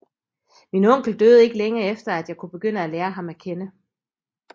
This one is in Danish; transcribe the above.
Min onkel døde ikke længe efter at jeg kunne begynde at lære ham at kende